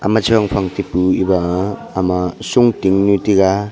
ama chong phang taipu eba ama shongting nu tega.